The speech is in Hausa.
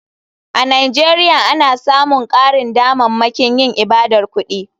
A nigeria ana samun karin damammakin yin ibadar kudi.